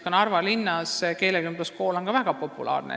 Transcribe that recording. Ka Narva linnas on keelekümbluskool väga populaarne.